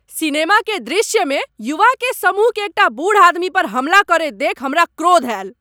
Cinema के दृश्य मे युवा के समूह के एकटा बूढ़ आदमी पर हमला करैत देखि हमरा क्रोध आयल।